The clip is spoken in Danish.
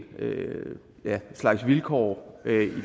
slags vilkår